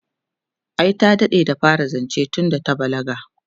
ai ta daɗe da fara zance tunda ta balaga